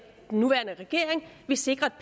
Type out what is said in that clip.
den nuværende regering vil sikre